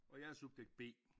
Og jeg er subjekt B